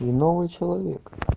и новый человек